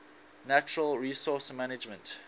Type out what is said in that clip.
natural resource management